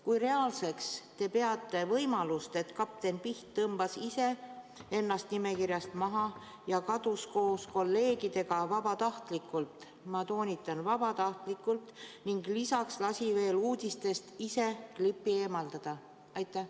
Kui reaalseks te peate võimalust, et kapten Piht tõmbas ise ennast nimekirjast maha ja kadus koos kolleegidega vabatahtlikult – ma toonitan, vabatahtlikult – ning lisaks lasi ise uudistest klipi eemaldada?